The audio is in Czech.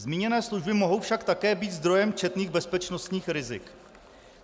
Zmíněné služby mohou však také být zdrojem četných bezpečnostních rizik.